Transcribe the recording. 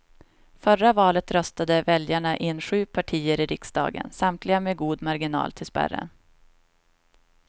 Förra valet röstade väljarna in sju partier i riksdagen, samtliga med god marginal till spärren.